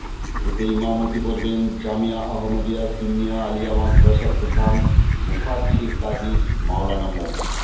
এতে ইমামতি করবেন জামেয়া আহমদিয়া সুন্নিয়া আলিয়া মাদ্রাসার প্রধান মুফাচ্ছির কাজী মাওলানা মো